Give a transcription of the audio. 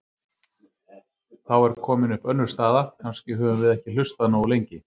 Þá er komin upp önnur staða: Kannski höfum við ekki hlustað nógu lengi.